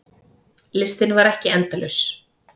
Listinn var ekki endalaus.